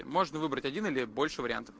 можно выбрать один или больше вариантов